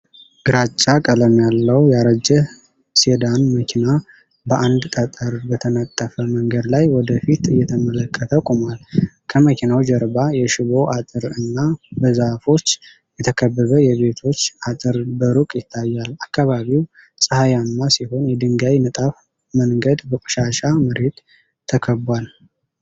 ግራጫ ቀለም ያለው ያረጀ ሴዳን መኪና በአንድ ጠጠር በተነጠፈ መንገድ ላይ ወደ ፊት እየተመለከተ ቆሟል። ከመኪናው ጀርባ የሽቦ አጥር እና በዛፎች የተከበበ የቤቶች አጥር በሩቅ ይታያሉ። አካባቢው ፀሐያማ ሲሆን፣ የድንጋይ ንጣፉ መንገድ በቆሻሻ መሬት ተከቧል።